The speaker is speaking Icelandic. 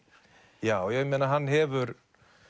já já hann hefur